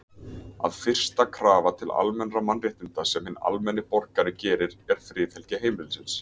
að fyrsta krafa til almennra mannréttinda sem hinn almenni borgari gerir er, friðhelgi heimilisins.